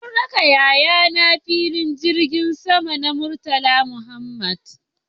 Mun raka yayana filin jirgin sama na Murtala Muhammad